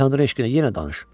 Tanrı eşqinə yenə danış.